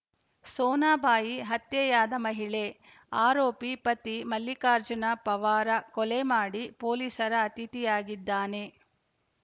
ಸೋನಾಬಾಯಿ ಹತ್ಯೆಯಾದ ಮಹಿಳೆ ಆರೋಪಿ ಪತಿ ಮಲ್ಲಿಕಾರ್ಜುನ ಪವಾರ ಕೊಲೆ ಮಾಡಿ ಪೊಲೀಸರ ಅತಿಥಿಯಾಗಿದ್ದಾನೆ